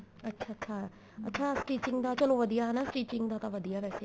ਅੱਛਾ ਅੱਛਾ ਅੱਛਾ stitching ਦਾ ਚਲੋ ਵਧੀਆ ਹਨਾ stitching ਦਾ ਚਲੋ ਵਧੀਆ ਵੈਸੇ